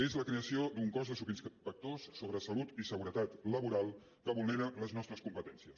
és la creació d’un cos de subinspectors sobre salut i seguretat laboral que vulnera les nostres competències